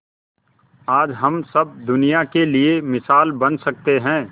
आज हम सब दुनिया के लिए मिसाल बन सके है